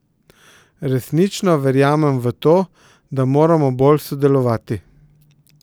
Resnično verjamem v to, da moramo bolj sodelovati.